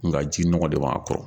Nka ji nɔgɔ de b' a kɔrɔ.